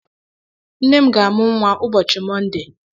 Nne m ga-amu nwa ụbọchị Monde.